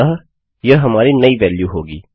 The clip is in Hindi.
अतः यह हमारी नई वेल्यू होगी